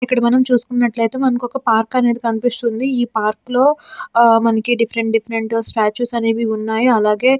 ఇక్కడ మనం చూసుకున్నట్లయితే మనకు ఒక పార్క్ అనేది కనిపిస్తుంది. ఈ పార్క్ లో మనకి డిఫరెంట్ డిఫరెంట్ స్టాట్యూస్ అనేవి ఉన్నాయి. అలాగే --